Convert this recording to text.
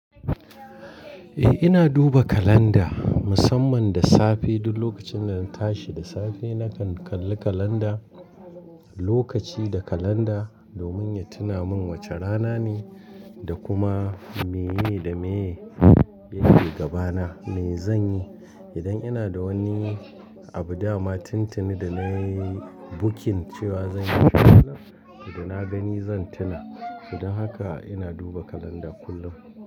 Eh ina duba kalanda musamman da safe duk lokacin da na tashi da safe nakan kalli kalanda, lokaci da kalanda domin ya tuna min wace rana ne da kuma meye da meye, yake gabana, me zanyi. Idan ina da wani abu dama tintini da nayi booking cewa zanyi a wannan rana, to da na gani zan tuna. Don haka ina duba kalanda kullum.